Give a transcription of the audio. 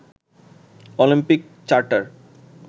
Olympic charter